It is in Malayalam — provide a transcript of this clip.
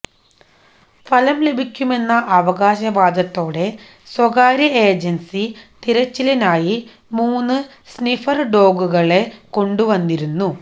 ഫലം ലഭിക്കുമെന്ന അവകാശവാദത്തോടെ സ്വകാര്യ ഏജൻസി തിരച്ചിലിനായി മൂന്ന് സ്നിഫർ ഡോഗുകളെ കൊണ്ടുവന്നിരുന്നു